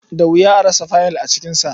Da wuya a rasa faiyil a cikinsa.